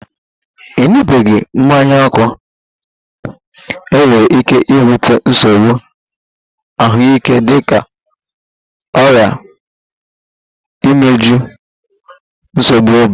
Ịṅụbiga mmanya ókè nwere ike ibute nsogbu ahụike dịka ọrịa imeju, nsogbu obi